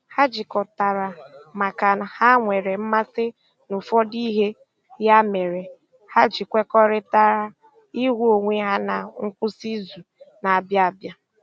Ha jikọtara maka ha nwere mmasị na ụfọdụ ihe, ya mere ha ji kwekọrịtara ịhụ onwe ha na nkwụsị izu na - abịa abịa